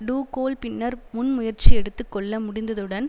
to goal பின்னர் முன் முயற்சி எடுத்து கொள்ள முடிந்ததுடன்